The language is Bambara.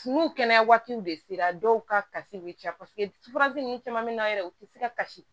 N'u kɛnɛya waatiw de sera dɔw ka kasi bɛ caya paseke ninnu caman bɛ na yɛrɛ u tɛ se ka kasi